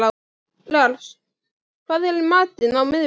Lars, hvað er í matinn á miðvikudaginn?